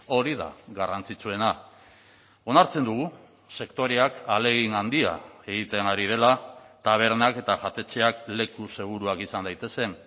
hori da garrantzitsuena onartzen dugu sektoreak ahalegin handia egiten ari dela tabernak eta jatetxeak leku seguruak izan daitezen